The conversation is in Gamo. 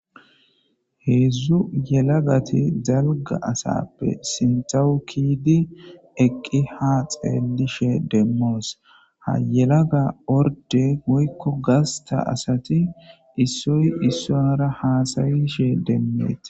Heezu yalalagati asappe ha keyidi eqqi ha xelishin domos ha yalaga ordde woyo gasta ti isoy isara hassayishin demettes.